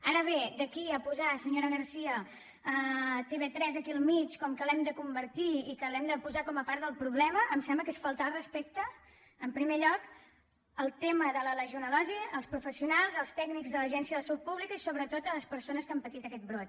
ara bé d’aquí a posar senyora garcía tv3 aquí al mig com que l’hem de convertir i que l’hem de posar com a part del problema em sembla que és faltar al respecte en primer lloc al tema de la legionel·losi als professionals als tècnics de l’agència de salut públi·ca i sobretot a les persones que han patit aquest brot